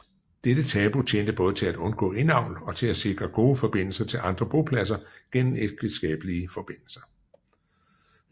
Dette tabu tjente både til at undgå indavl og til at sikre gode forbindelser til andre bopladser gennem ægteskabelige forbindelser